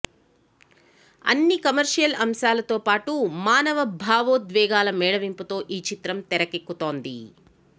అన్ని కమర్షియల్ అంశాలతో పాటు మానవ భావోద్వేగాల మేళవింపుతో ఈ చిత్రం తెరకెక్కుతోంది